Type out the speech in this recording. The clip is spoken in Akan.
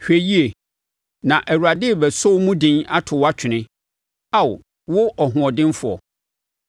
“Hwɛ yie, na Awurade rebɛsɔ wo mu den ato wo atwene, Ao wo ɔhoɔdenfoɔ.